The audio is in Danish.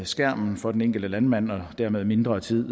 skærmen for den enkelte landmand og dermed mindre tid